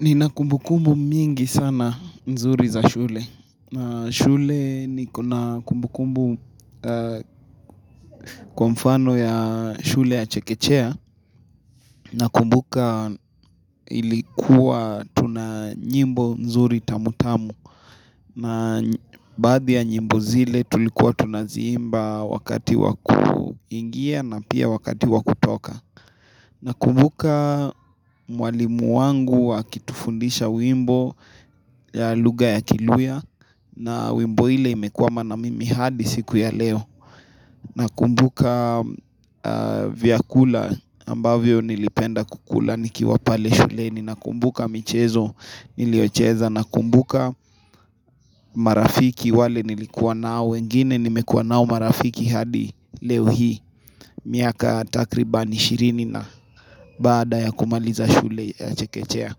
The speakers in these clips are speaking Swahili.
Nina kumbukumbu mingi sana mzuri za shule. Na shule nikona kumbukumbu kwa mfano ya shule ya Chekechea. Nakumbuka ilikuwa tuna nyimbo mzuri tamutamu. Na baadhi ya nyimbo zile tulikuwa tunaziimba wakati wa kuingia na pia wakati wa kutoka Nakumbuka mwalimu wangu akitufundisha wimbo ya lugha ya kiluhya na wimbo ile imekuwa maana mimi hadi siku ya leo Nakumbuka vyakula ambavyo nilipenda kukula nikiwa pale shuleni Nakumbuka michezo niliocheza Nakumbuka marafiki wale nilikuwa nao wengine nimekuwa nao marafiki hadi leo hii miaka takriban ishirini na baada ya kumaliza shule ya Chekechea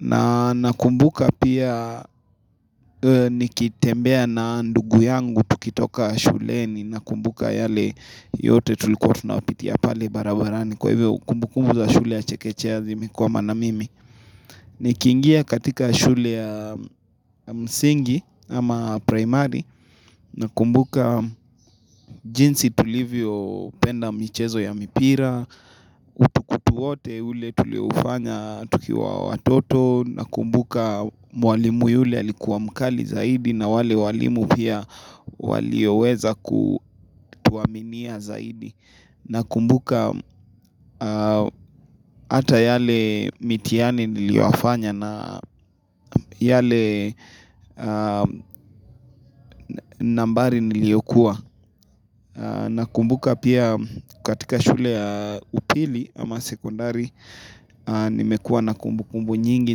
na nakumbuka pia nikitembea na ndugu yangu tukitoka shule Ninakumbuka yale yote tulikuwa tunapitia pale barabarani Kwa hivyo kumbukumu za shule ya Chekechea zimekwama na mimi Nikiingia katika shule ya msingi ama primary Nakumbuka jinsi tulivyopenda michezo ya mipira Utukutu wote ule tuliofanya tukiwa watoto Nakumbuka mwalimu yule alikuwa mkali zaidi na wale walimu pia walioweza kutuaminia zaidi Nakumbuka hata yale mitiani niliyoyafanya na yale nambari niliyokua Nakumbuka pia katika shule ya upili ama sekondari Nimekua na kumbukumbu nyingi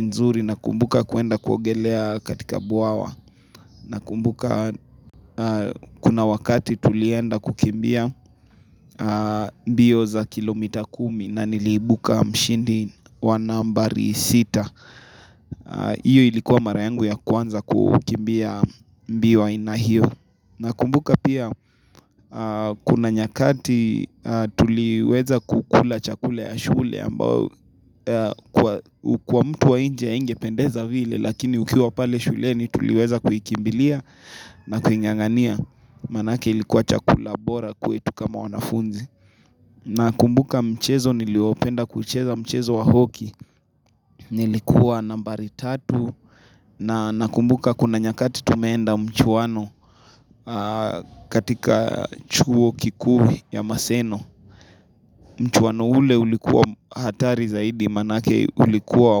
nzuri nakumbuka kuenda kuogelea katika bwawa Nakumbuka kuna wakati tulienda kukimbia mbio za kilomita kumi na niliibuka mshindi wa nambari sita Iyo ilikuwa mara yangu ya kwanza kukimbia mbio ya aina hio Nakumbuka pia kuna nyakati tuliweza kukula chakula ya shule ambao kwa mtu wa nje haingependeza vile lakini ukiwa pale shuleni tuliweza kuikimbilia na kuing'ang'ania manake ilikuwa chakula bora kwetu kama wanafunzi. Nakumbuka mchezo niliopenda kucheza mchezo wa hoki, nilikuwa nambari tatu na Nakumbuka kuna nyakati tumeenda mchuano katika chuo kikuu ya maseno Mchuano ule ulikuwa hatari zaidi manake ulikuwa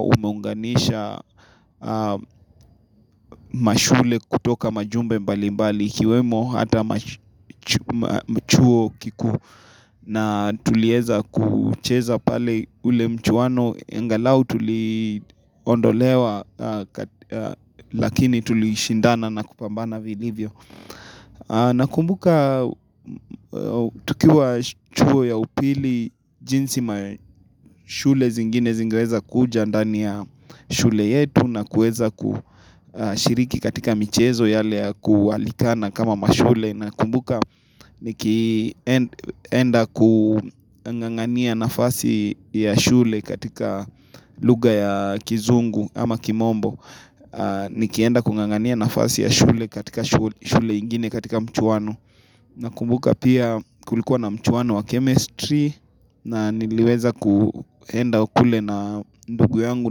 umeunganisha mashule kutoka majumbe mbali mbali ikiwemo hata chuo kikuu na tulieza kucheza pale ule mchuano angalau tuliondolewa lakini tulishindana na kupambana vilivyo nakumbuka tukiwa chuo ya upili jinsi mashule zingine zingeweza kuja ndani ya shule yetu na kueza kushiriki katika michezo yale kualikana kama mashule nakumbuka nikienda kung'ang'ania nafasi ya shule katika luga ya kizungu ama kimombo nikienda kung'ang'ania nafasi ya shule katika shule ingine katika mchuano nakumbuka pia kulikuwa na mchuano wa chemistry na niliweza kuenda kule na ndugu yangu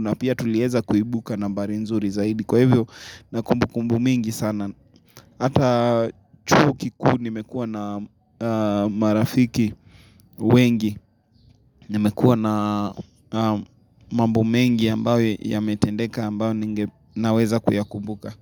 na pia tulieza kuibuka nambari nzuri zaidi kwa hivvyo na kumbukumbu mingi sana Hata chuo kikuu nimekuwa na marafiki wengi Nimekuwa na mambo mengi ambayo yametendeka ambayo naweza kuyakumbuka.